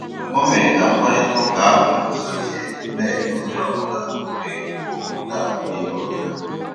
O mèrè kà mkpáịrịtà ụ́ka ahụ́ gùzòziè, na-ènyé ònyè ọ́bụ́là ógè ìkwù ókwú na ị̀ nụ́rụ́ ya.